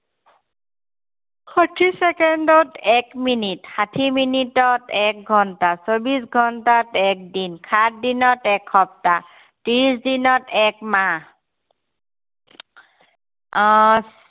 ষাঠী চেকেণ্ডত এক মিনিট। ষাঠী মিনিটত এক ঘন্টা। চৌব্বিশ ঘন্টাত এক দিন। সাতদিনত এক সপ্তাহ। ত্ৰিশ দিনত এক মাহ। আহ